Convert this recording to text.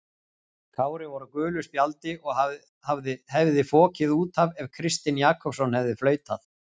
Kári var á gulu spjaldi og hefði fokið út af ef Kristinn Jakobsson hefði flautað.